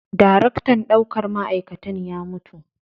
Daraktan ɗaukar ma'aikatan ya mutu.